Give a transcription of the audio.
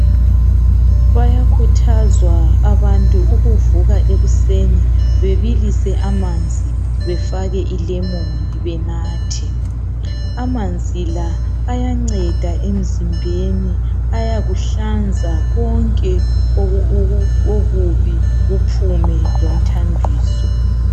Bayakhuthazwa abantwana ukuvuka ekuseni bebilise amanzi befake ilemon benathe. Amanzi la ayanceda emzimbeni ayakuhlanza konke okubi emzimbeni kuphume lomthambiso.